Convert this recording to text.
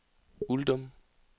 Uldum